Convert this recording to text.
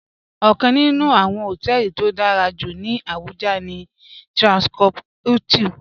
Ọ̀kaǹ nínù awọ́n họ̀tẹlì tó dárà jú ní Abuja ní Transcorp Hilton